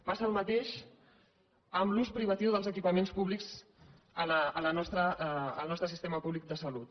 passa el mateix amb l’ús privatiu dels equipaments públics en el nostre sistema públic de salut